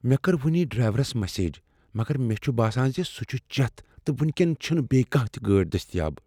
مےٚ کٔر وٕنی ڈرٛیہورس میسیج مگر مےٚ چھ باسان ز سہ چھ چٮ۪تھ تہٕ وٕنۍ کٮ۪ن چھنہٕ بیٚیہ کانٛہہ تہ گٲڑۍ دٔستیاب۔